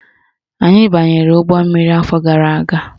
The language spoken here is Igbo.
Anyị banyere ụgbọmmiri afọ gara aga.